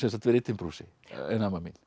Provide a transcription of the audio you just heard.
verið í timburhúsi ein amma mín